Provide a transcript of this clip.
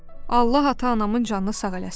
Allah ata-anamın canını sağ eləsin.